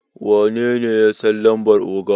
wanene ya San lambar oga?